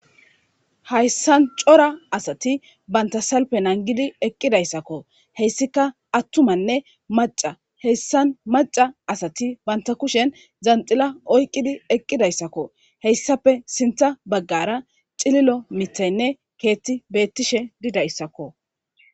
Hayssan cora asati banta salpe nangidi eqqidayssakko heyssika attumanne maca heyssan maca asati banta kushen zanxila oyqqidi eqqidayssakko heyssape sintha baggara xililo mithaynne keetti beettishe didayssakko.